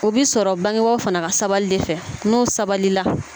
O bɛ sɔrɔ bangebaaw fana ka sabali de fɛ n'u sabalila